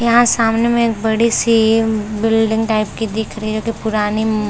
यहाँ सामने में एक बड़ी सी बिल्डिंग टाइप की दिख रही है जोकि पुराणी अ म--